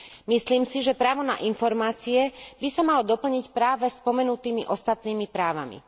Myslím si, že právo na informácie by sa malo doplniť práve spomenutými ostatnými právami.